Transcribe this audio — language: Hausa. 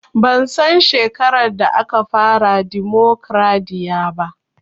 Ban san shekarar da aka fara dimokraɗiya ba